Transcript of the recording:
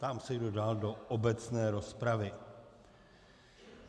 Ptám se, kdo dál do obecné rozpravy.